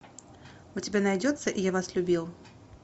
у тебя найдется я вас любил